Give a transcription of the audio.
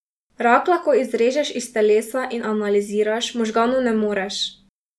Rak lahko izrežeš iz telesa in analiziraš, možganov ne moreš.